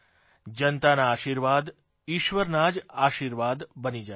જનતાના આશીર્વાદ ઇશ્વરના જ આશીર્વાદ બની જાય છે